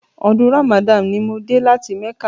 Ọdún Ramadan ni mo dé láti mẹ́kà..